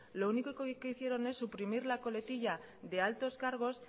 lo único que hicieron es suprimir la coletilla de altos cargos